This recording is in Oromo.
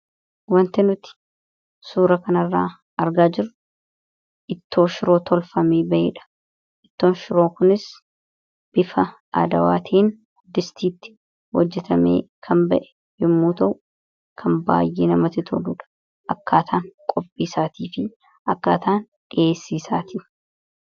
Wanti nuti suura kana irraa argaa jirru ittoo shiroo tolfamee ba'ee dha. Ittoon shiroo kunis bifa adawaa ta'een distiitti hojjatamee kan ba'e yommuu ta'u kan baayyee namatti toludha.